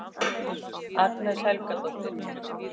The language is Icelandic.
Agnes Helgadóttir